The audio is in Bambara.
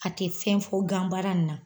A te fɛn fo gan baara n na.